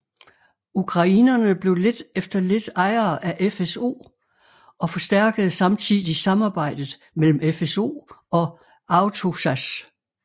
Ukrainerne blev lidt efter lidt ejere af FSO og forstærkede samtidig samarbejdet mellem FSO og AwtoSAS